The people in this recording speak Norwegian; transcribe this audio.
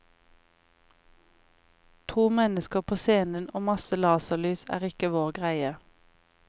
To mennesker på scenen og masse laserlys, er ikke vår greie.